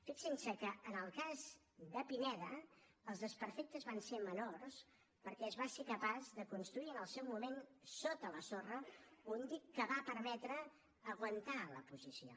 fixin se que en el cas de pineda els desperfectes van ser menors perquè es va ser capaç de construir en el seu moment sota la sorra un dic que va permetre aguantar la posició